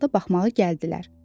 hər halda baxmağa gəldilər.